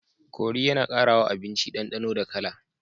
Kori yAna kara wa abinci dan danonda kala